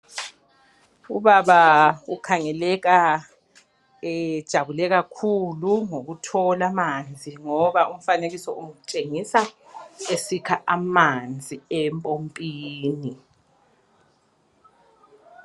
Ubaba ukhangeleka ejabule kakhulu ngokuthola amanzi ngoba umfanekiso utshengisa esikha amanzi empompini